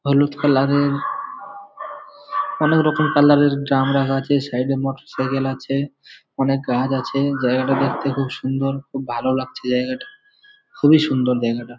হলুদ কালার এর অনকে রকম কালার এর ড্রাম রাখা আছে। সাইডে মোটর সাইকেল আছে। অনেক গাছ আছে। জায়গাটা দেখতে খুব সুন্দর। খুব ভালো লাগছে জায়গাটা । খুবই সুন্দর জায়গাটা।